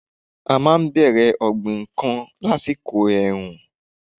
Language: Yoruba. Àwọn máa n bèrè ọ̀gbìn n kan lásìkò èrù- ùn